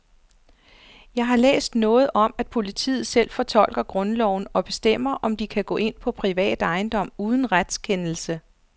Jeg har læst noget om, at politiet selv fortolker grundloven og bestemmer, om de kan gå ind på privat ejendom uden retskendelse.